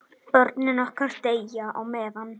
Börnin okkar deyja á meðan.